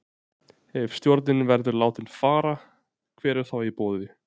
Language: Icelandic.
Ef stjórinn verður látinn fara, hver er þá í boði?